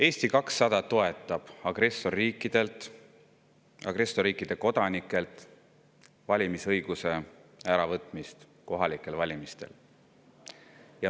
Eesti 200 toetab agressorriikide kodanikelt valimisõiguse äravõtmist kohalikel valimistel.